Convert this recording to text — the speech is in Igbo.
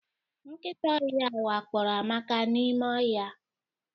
Nkịta ọhịa wakporo Amaka n'ime ọhịa.